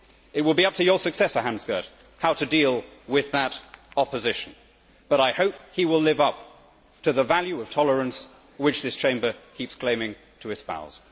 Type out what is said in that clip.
It will be up to your successor, Hans Gert, how to deal with that opposition, but I hope he will live up to the value of tolerance which this Chamber keeps claiming to espouse.